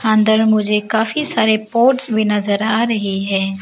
अंदर में मुझे काफी सारे पॉट्स भी नजर आ रही है।